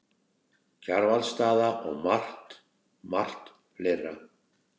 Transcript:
Kjarvalsstaða og margt, margt fleira.